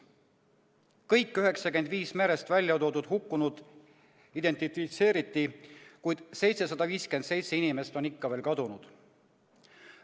Kõik 95 merest väljatoodud hukkunut identifitseeriti, kuid 757 inimest on ikka veel kadunud.